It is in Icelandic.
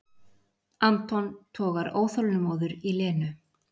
Anton togar óþolinmóður í Lenu.